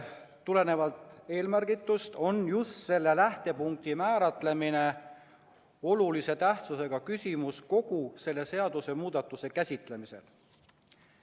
Tulenevalt eelmärgitust on just selle lähtepunkti määratlemine olulise tähtsusega küsimus kogu selle seadusemuudatuse käsitlemisel.